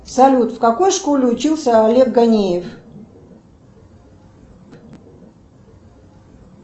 салют в какой школе учился олег ганеев